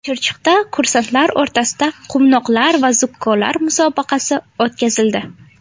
Chirchiqda kursantlar o‘rtasida Quvnoqlar va zukkolar musobaqasi o‘tkazildi.